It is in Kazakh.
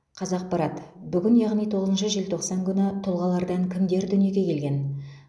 қазақпарат бүгін яғни тоғызыншы желтоқсан күні тұлғалардан кімдер дүниеге келген